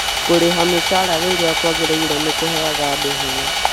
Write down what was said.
kũrĩha mĩcara rĩrĩa kwagĩrĩire nĩkũheaga andũ hinya